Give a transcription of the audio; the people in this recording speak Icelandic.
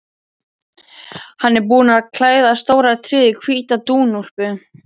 Hann er búinn að klæða stóra tréð í hvíta dúnúlpu.